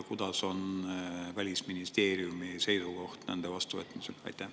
Milline on Välisministeeriumi seisukoht nende vastuvõtmise suhtes?